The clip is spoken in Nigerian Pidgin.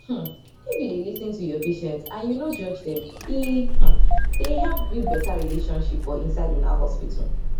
um if u dey lis ten to ur patients and u nor judge dem e um dey help build better relationship for inside una hospital